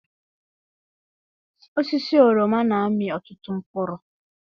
Osisi oroma na-amị ọtụtụ mkpụrụ.